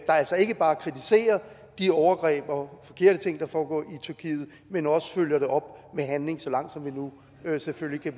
der altså ikke bare kritiserer de overgreb og forkerte ting der foregår i tyrkiet men også følger det op med handling så langt selvfølgelig